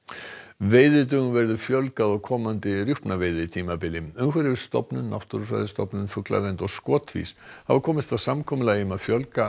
veiðidögum verður fjölgað á komandi rjúpnaveiðitímabili umhverfisstofnun Náttúrufræðistofnun fuglavernd og Skotvís hafa komist að samkomulagi um að fjölga